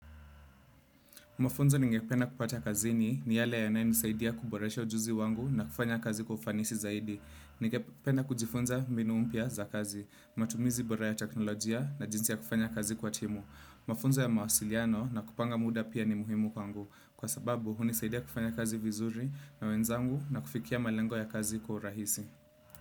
Mafunzo ningependa kupata kazini ni yale yanae nisaidia kuboresha ujuzi wangu na kufanya kazi kwa ufanisi zaidi. Ningependa kujifunza mbinu mpya za kazi, matumizi bora ya teknolojia na jinsi ya kufanya kazi kwa timu. Mafunzo ya mawasiliano na kupanga muda pia ni muhimu kwangu. Kwa sababu, hunisaidia kufanya kazi vizuri na wenzangu na kufikia malengo ya kazi kwa urahisi.